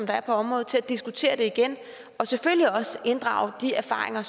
der er på området til at diskutere det igen og selvfølgelig også inddrage de erfaringer